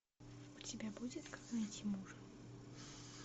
у тебя будет как найти мужа